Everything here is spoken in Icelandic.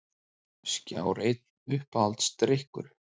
Skjár einn Uppáhaldsdrykkur?